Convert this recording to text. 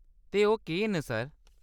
ते ओह्‌‌ केह्‌‌ न सर ?